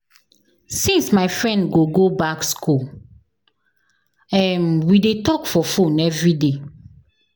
Since my friend go go back skool, um we dey talk for fone everyday.